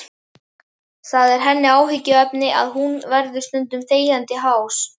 Það er henni áhyggjuefni að hún verður stundum þegjandi hás.